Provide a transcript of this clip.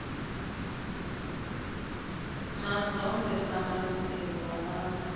mazombe samalungelo wabantu